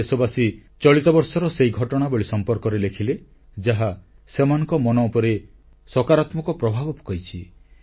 କିଛି ଦେଶବାସୀ ଚଳିତବର୍ଷର ସେହି ଘଟଣାବଳୀ ସମ୍ପର୍କରେ ଲେଖିଲେ ଯାହା ସେମାନଙ୍କ ମନ ଉପରେ ସକାରାତ୍ମକ ପ୍ରଭାବ ପକାଇଛି